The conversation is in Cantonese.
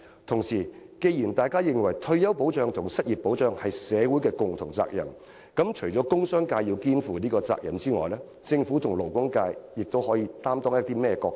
同時，既然大家認為退休保障和失業保障是社會各界的共同責任，除了商界要肩負這責任外，政府和勞工界又可以擔當甚麼角色？